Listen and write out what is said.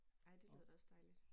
Ej det lyder da også dejligt